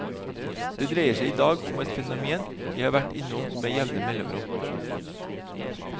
Det dreier seg idag om et fenomen jeg har vært innom med jevne mellomrom.